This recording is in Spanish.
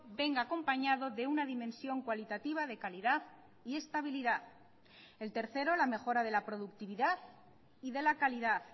venga acompañado de una dimensión cualitativa de calidad y estabilidad el tercero la mejora de la productividad y de la calidad